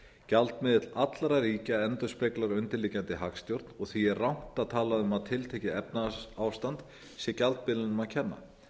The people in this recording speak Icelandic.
gjaldmiðill allra ríkja endurspeglar undirliggjandi hagstjórn og því er rangt að tala um að tiltekið efnahagsástand sé gjaldmiðlinum að kenna